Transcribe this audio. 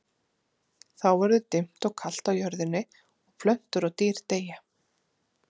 Þá verður dimmt og kalt á jörðinni og plöntur og dýr deyja.